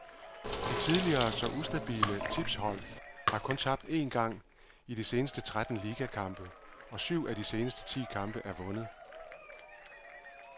De tidligere så ustabile tipshold har kun tabt én gang i de seneste tretten ligakampe, og syv af de seneste ti kampe er vundet.